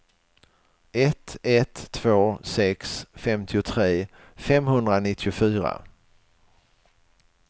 ett ett två sex femtiotre femhundranittiofyra